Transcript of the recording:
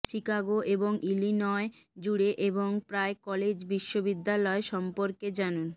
Chicago এবং Illinois জুড়ে এবং প্রায় কলেজ ও বিশ্ববিদ্যালয় সম্পর্কে জানুন